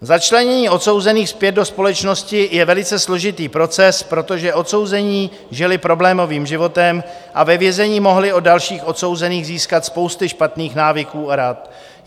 Začlenění odsouzených zpět do společnosti je velice složitý proces, protože odsouzení žili problémovým životem a ve vězení mohli od dalších odsouzených získat spousty špatných návyků a rad.